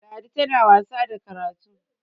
ladi tana wasa da karatu!